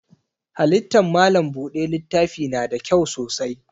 Halittan malam buɗe littafi na da kyau sosai.